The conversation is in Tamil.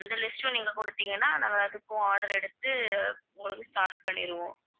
அந்த list ம் நீங்க குடுத்தீங்கன்னா நாங்க அதுக்கும் order எடுத்து உங்களுக்கு start பண்ணிடுவோம்